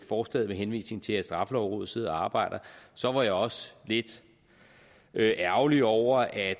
forslaget med henvisning til at straffelovrådet sidder og arbejder så var jeg også lidt ærgerlig over at